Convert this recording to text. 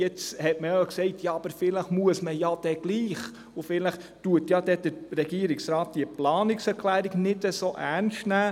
Jetzt hat man aber gesagt, vielleicht werde man es trotzdem müssen, und vielleicht werde der Regierungsrat die Planungserklärung nicht so ernst nehmen.